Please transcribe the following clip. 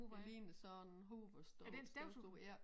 Det ligner sådan en Hoover støv støvsuger ja